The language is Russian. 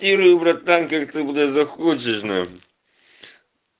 тирую братан как ты бля захочешь нахуй